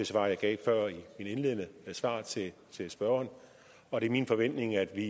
svar jeg gav før i mit indledende svar til spørgeren og det er min forventning at vi